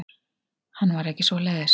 Hann var ekki svoleiðis.